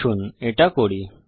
আসুন এটা করি